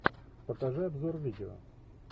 покажи обзор видео